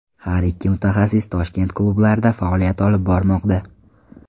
Har ikki mutaxassis Toshkent klublarida faoliyat olib bormoqda.